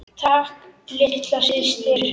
Takk litla systir.